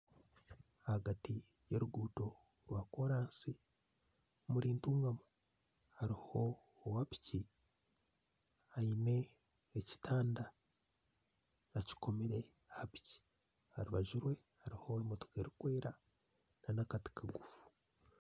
Ahagati y'oruguuto rwa koraansi hariho owapiki aine ekitanda akikomire aha piki aha rubaju rwe hariho emotoka erikwera nana akati kagufu